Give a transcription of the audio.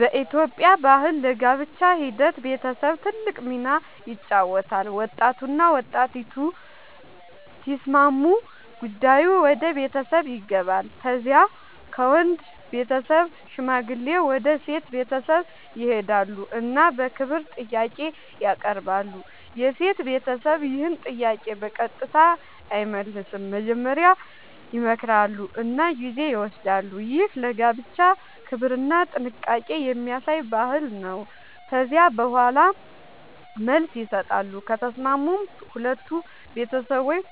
በኢትዮጵያ ባህል ለጋብቻ ሂደት ቤተሰብ ትልቅ ሚና ይጫወታል። ወጣቱና ወጣቲቱ ሲስማሙ ጉዳዩ ወደ ቤተሰብ ይገባል። ከዚያ ከወንድ ቤተሰብ ሽማግሌዎች ወደ ሴት ቤተሰብ ይሄዳሉ እና በክብር ጥያቄ ያቀርባሉ። የሴት ቤተሰብ ይህን ጥያቄ በቀጥታ አይመልስም፤ መጀመሪያ ይመክራሉ እና ጊዜ ይወስዳሉ። ይህ ለጋብቻ ክብርና ጥንቃቄ የሚያሳይ ባህል ነው። ከዚያ በኋላ መልስ ይሰጣሉ፤ ከተስማሙም ሁለቱ ቤተሰቦች